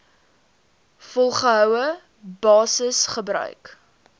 volgehoue basis gebruik